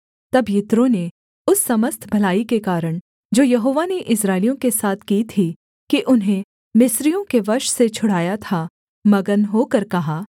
तब यित्रो ने उस समस्त भलाई के कारण जो यहोवा ने इस्राएलियों के साथ की थी कि उन्हें मिस्रियों के वश से छुड़ाया था मगन होकर कहा